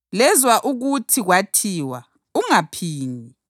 “Lezwa ukuthi kwathiwa, ‘Ungaphingi.’ + 5.27 U-Eksodasi 20.14